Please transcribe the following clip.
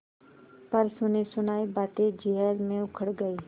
पर सुनीसुनायी बातें जिरह में उखड़ गयीं